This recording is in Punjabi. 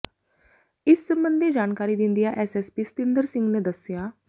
ਇਸ ਸਬੰਧੀ ਜਾਣਕਾਰੀ ਦਿੰਦਿਆ ਐਸਐਸਪੀ ਸਤਿੰਦਰ ਸਿੰਘ ਨੇ ਦੱਸਿਆ